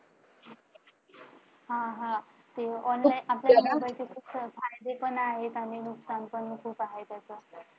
ते online आपल्याला class चे आपल्याला खूप फायदे पण आहेत आणि नुकसान पण आहे.